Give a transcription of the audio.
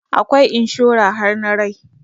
Akwai inshora har na rai